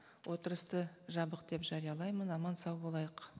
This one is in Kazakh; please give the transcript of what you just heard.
отырысты жабық деп жариялаймын аман сау болайық